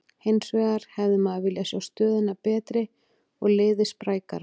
Hinsvegar hefði maður viljað sjá stöðuna betri og liðið sprækara.